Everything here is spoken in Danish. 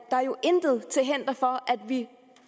intet til hinder for at vi